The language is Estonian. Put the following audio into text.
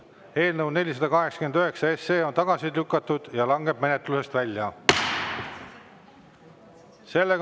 Eelnõu 489 on tagasi lükatud ja langeb menetlusest välja.